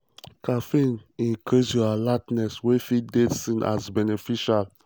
caffeine increase your alertness wey fit dey seen as beneficial.